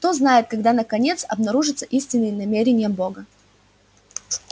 кто знает когда наконец обнаружатся истинные намерения бога